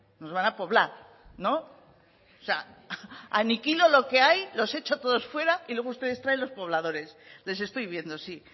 nos van a poblar no o sea aniquilo lo que hay los echo a todos fuera y luego ustedes traen los pobladores les estoy viendo sí